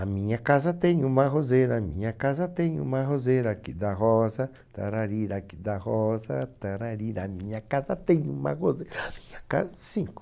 A minha casa tem uma roseira, a minha casa tem uma roseira, que dá rosa, tararira, que dá rosa, tararira, a minha casa tem uma roseira, a minha casa... Cinco.